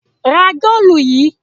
Ra góólù yìí!